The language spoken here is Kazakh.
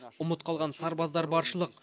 ұмыт қалған сарбаздар баршылық